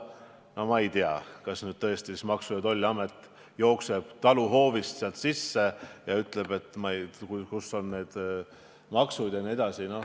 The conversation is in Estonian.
No ma ei tea, kas tõesti Maksu- ja Tolliamet peaks jooksma taluhoovi ja uurima, kus on need maksud ja nii edasi.